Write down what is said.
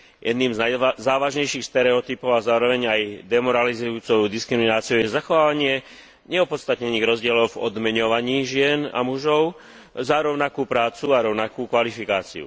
Jedným z najzávažnejších stereotypov a zároveň aj demoralizujúcou diskrimináciou je zachovávanie neopodstatnených rozdielov v odmeňovaní žien a mužov za rovnakú prácu a rovnakú kvalifikáciu.